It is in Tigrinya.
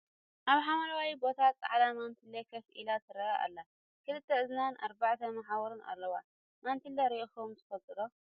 ኣብ ሓምላዊ ቦታ ፃዕዳ መንትለ ኮፍ ኢላ ትርአ ኣላ ። ክልተ እዝንን ኣርባዕተ መሓውር ኣለዋ ። መንትለ ሪኢኩም ትፍልጡ ዶ ?